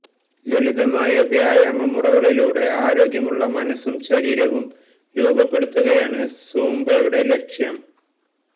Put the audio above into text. ലളിതമായ വ്യായാമ മുറകളിലൂടെ ആരോഗ്യമുള്ള മനസും ശരീരവും രൂപപ്പെടുത്തുകയാണ് സൂംബയുടെ ലക്ഷ്യം